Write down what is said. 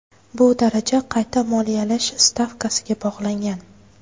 Bu daraja qayta moliyalash stavkasiga bog‘langan.